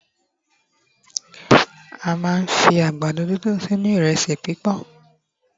a ma n fi àgbàdo didun sí inú iresi pipọn